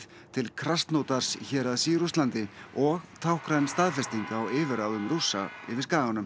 til héraðs í Rússlandi og táknræn staðfesting á yfirráðum Rússa yfir skaganum